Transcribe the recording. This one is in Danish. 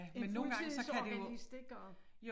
En fuldtidsorganist det går